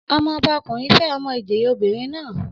Ọmọ ọba ọkùnrin fẹ́ ọmọ ìjòyè obìnrin naa